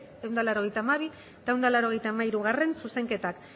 ehun eta laurogeita hamabi eta ehun eta laurogeita hamairugarrena zuzenketak